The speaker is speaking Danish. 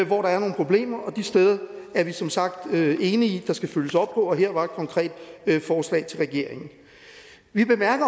hvor der er nogle problemer og de steder er vi som sagt enige i der skal følges op og her var der et konkret forslag til regeringen vi bemærker